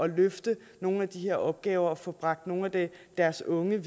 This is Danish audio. løfte nogle af de her opgaver med at få bragt nogle af deres unge